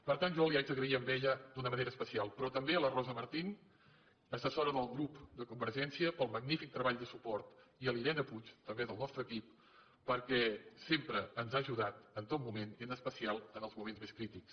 per tant jo li haig d’agrair a ella d’una manera especial però també a la rosa martín assessora del grup de convergència pel magnífic treball de suport i a la irene puig també del nostre equip perquè sempre ens ha ajudat en tot moment i en especial en els moments més crítics